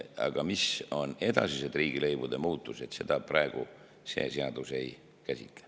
Aga mis on edasised riigilõivude muutused, seda praegu see seadus ei käsitle.